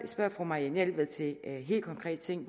spørger fru marianne jelved til en helt konkret ting